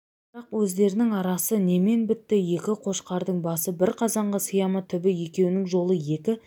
бірақ өздерінің арасы немен бітті екі қошқардың басы бір қазанға сыя ма түбі екеуінің жолы екі